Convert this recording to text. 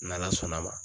N'ala sɔnn'a ma